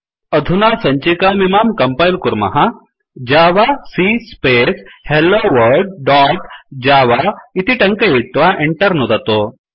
अधुना सञ्चिकामिमां कंपैल कुर्मः javac space hello world dot java इति टङ्कयित्वा Enter नुदतु